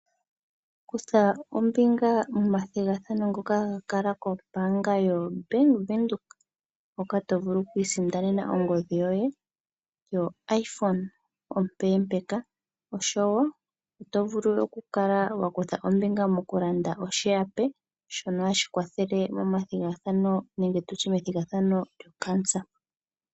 Kutha ombinga momathigathano ngoka ga kala koBank Windhoek moka to vulu okwiisindanena ongodhi yoye yoiphone ompempeeka, oshowo oto vulu oku kala wa kutha ombinga moku landa oshihape shono hashi kwathele momathigano nenge tutye methigathano lyocancer.